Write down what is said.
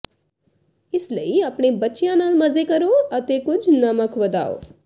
ਇਸ ਲਈ ਆਪਣੇ ਬੱਚਿਆਂ ਨਾਲ ਮਜ਼ੇ ਕਰੋ ਅਤੇ ਕੁਝ ਨਮਕ ਵਧਾਓ